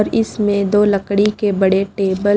और इसमें दो लकड़ी के बड़े टेबल --